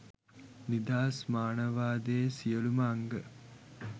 නිදහස් මානවවාදයේ සියලුම අංග